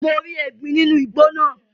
Mo rí ẹgbin nínú igbó náà.